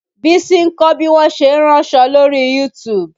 Bísí ń kọ́ bí wọn ṣe ń ránṣọ lóri YouTube